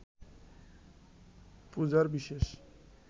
পূজার বিশেষ